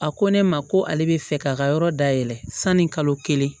A ko ne ma ko ale bɛ fɛ k'a ka yɔrɔ dayɛlɛ sani kalo kelen